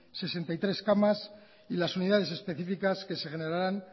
sesenta y tres camas y las unidades específicas que se generarán